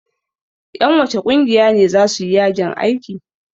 Ƴan wacce ƙungiya ne za su yi yajin aiki?